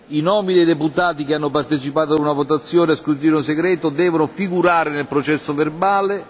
I nomi dei deputati che hanno partecipato a una votazione a scrutinio segreto devono figurare nel processo verbale